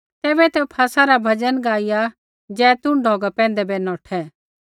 तैबै ते फसह रा भजन गाईया जैतून ढौगा पैंधै बै नौठै